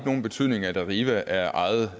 nogen betydning at arriva er ejet